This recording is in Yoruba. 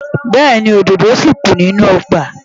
Bẹ́ẹ̀ni, òdòdó ṣì kù nínú ọgbà.